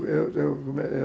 eu